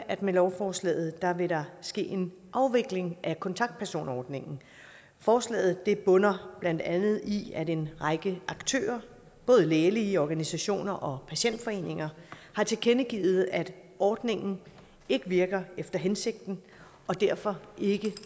at med lovforslaget vil der ske en afvikling af kontaktpersonordningen forslaget bunder blandt andet i at en række aktører både lægelige organisationer og patientforeninger har tilkendegivet at ordningen ikke virker efter hensigten og derfor ikke